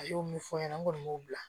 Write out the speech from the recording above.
A y'o ɲɛfɔ n ɲɛna n kɔni b'o bila